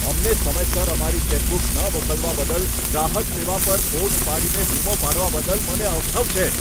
અમને સમયસર અમારી ચેકબુક ન મોકલવા બદલ ગ્રાહક સેવા પર ફોન ઉપાડીને બૂમો પાડવાની મને અવઢવ છે.